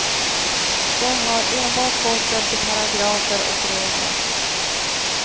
De har enbart gått efter paragrafer och regler.